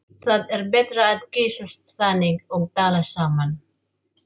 Það er betra að kyssast þannig og tala saman.